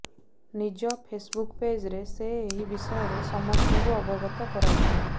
ନିଜ ଫେସବୁକ ପେଜରେ ସେ ଏହି ବିଷୟରେ ସମସ୍ତଙ୍କୁ ଅବଗତ କରାଇଛନ୍ତି